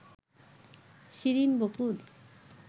Shirin Bakul